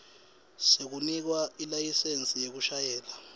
sekunikwa ilayisensi yekushayela